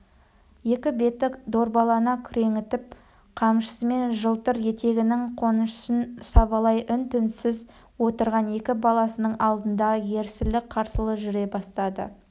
екі беті дорбалана күреңітіп қамшысымен жылтыр етігінің қонышын сабалай үн-түнсіз отырған екі баласының алдында ерсілі-қарсылы жүре бастады